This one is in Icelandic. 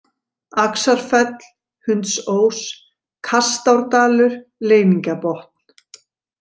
Axarfell, Hundsós, Kastárdalur, Leyningabotn